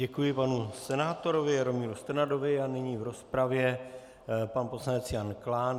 Děkuji panu senátorovi Jaromíru Strnadovi a nyní v rozpravě pan poslanec Jan Klán.